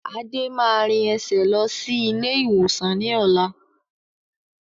Adé máa rìn ẹsẹ̀ lọ sí ilé ìwòsàn ni ọ̀la